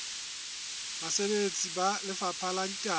basebeletsi ba lefapha la ditaba